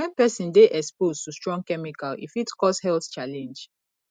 when person dey exposed to strong chemical e fit cause health challenge